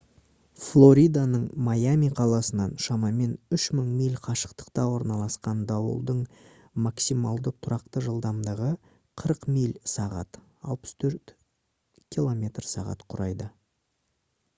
флориданың майами қаласынан шамамен 3 000 миль қашықтықта орналасқан дауылдың максималды тұрақты жылдамдығы 40 миль/сағ 64 км/сағ құрайды